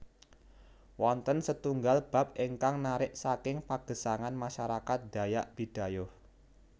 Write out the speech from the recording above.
Wonten setunggal bab ingkang narik saking pagesangan masyarakat dayak bidayuh